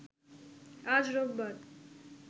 আজ রোববার